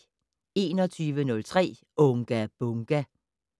21:03: Unga Bunga!